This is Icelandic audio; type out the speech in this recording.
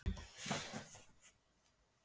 Ég hafði aldrei lifað aðra eins nótt.